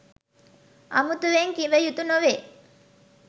අමුතුවෙන් කිවයුතු නොවේ.